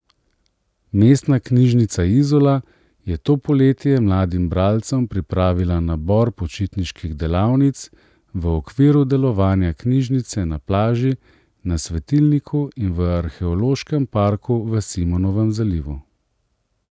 Mestna knjižnica Izola je to poletje mladim bralcem pripravila nabor počitniških delavnic v okviru delovanja Knjižnice na plaži na Svetilniku in v Arheološkem parku v Simonovem zalivu.